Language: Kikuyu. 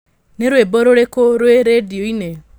nĩ rwĩmbo rũrĩkũ rwĩ redio-inĩ